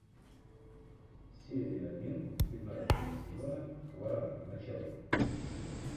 серия один пятнадцатого сезона хваран начало